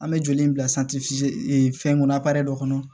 An bɛ joli in bila fɛnkɔnɔ dɔ kɔnɔ